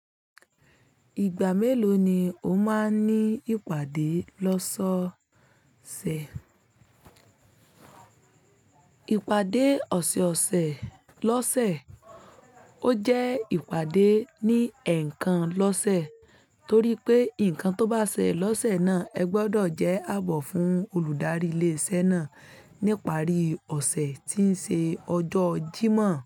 Ìgbà mélòó ni o máa ń ní ìpàdé lọ́sọ ọ̀sẹ̀? Ìpàdé ọ̀sẹ̀ ọ̀sẹ̀ lọ́sẹ̀ ó jẹ́ ìpàdé ní ẹ̀ẹ̀kan lọ́sẹ̀ torí pé nǹkan tó bá ṣẹ lọ́sẹ̀ náà ẹ gbọdọ̀ jẹ́ àbọ̀ fún olùdarí ilé-iṣẹ́ náà níparí ọ̀sẹ̀ tí ń ṣe ọjọ́ Jímọ̀